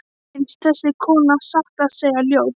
Mér finnst þessi kona satt að segja ljót.